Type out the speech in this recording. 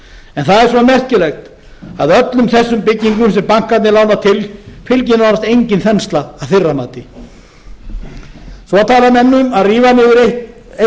en það er svo merkilegt að öllum þessum byggingum sem bankarnir lána til fylgir nánast engin þensla að þeirra mati svo tala menn um að rífa niður eitt stykki